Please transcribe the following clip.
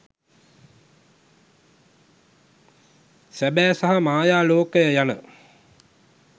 සැබෑ සහ මායා ලෝකය යන